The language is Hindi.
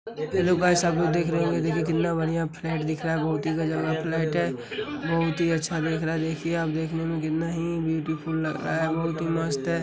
हेल्लो गायस आप देख रहे होंगे देखिए कितना बढ़िया फ्लैट दिख रहा है। बोहोत ही गजब का है बोहोत ही अच्छा दिख रहा है देखिये आप देखने में कितना ही ब्यूटीफुल लग रहा है बोहोत ही मस्त है।